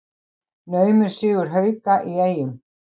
Naumur sigur Hauka í Eyjum